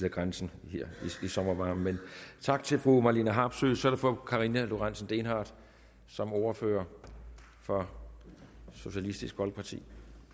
af grænsen her i sommervarmen tak til fru marlene harpsøe så er det fru karina lorentzen dehnhardt som ordfører for socialistisk folkeparti